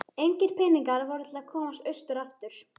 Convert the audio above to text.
Engir peningar voru til að komast austur aftur.